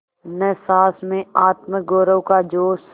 न सास में आत्मगौरव का जोश